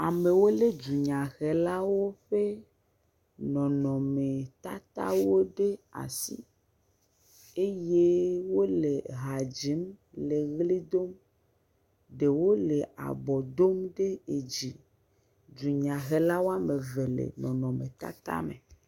Amewo le dunyahelawo ƒe nɔnɔme tatawo ɖe asi eye wole ha dzim, woɣli dom. Ɖewo le abo dom dzi. Dunyahelawo woame evewo le nɔnɔme tata me